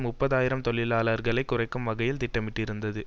முப்பது ஆயிரம் தொழிலாளர்களை குறைக்கும் வகையில் திட்டமிட்டிருந்தது